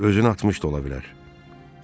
Özünü atmış da ola bilər.